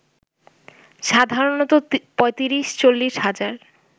সাধারণত ৩৫-৪০ হাজার